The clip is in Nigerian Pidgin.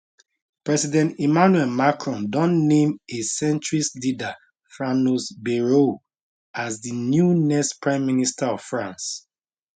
president emmanuel macron don name a centrist leader franois bayrou as di new next prime minister of france